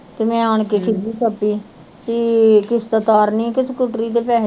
ਤੇ ਮੈ ਆਣ ਕੇ ਖ਼ੀਜ਼ੀ ਖਪੀ ਓ ਪੀ ਈ ਕਿਸਤ ਤਾਰਨੀ ਕੇ ਸਕੂਟਰੀ ਦੇ ਪੈਸੇ